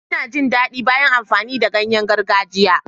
Ina jin daɗi bayan amfani da ganyen gargajiya.